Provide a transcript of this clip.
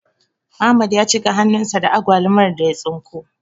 Ahmad ya cika hannun sa da agwalumar da ya tsinko